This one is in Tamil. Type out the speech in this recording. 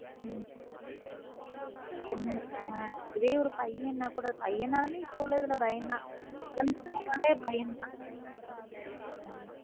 ஒன்னு இதுவே ஒரு பயனா கூட பயனா நாளும் இப்போ உள்ளதுல பயம்தான் குழந்தை நாளை பயம் தான